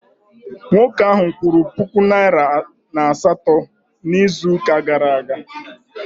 Nwoke ahụ kwụrụ puku naịra atọ na asatọ n'izuụka gara aga